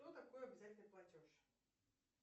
что такое обязательный платеж